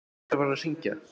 Hver var að hringja?